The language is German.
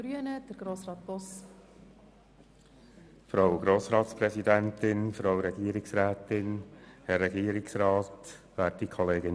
Das heisst, wir unterstützen die Planungserklärungen 1 und 7 mehrheitlich.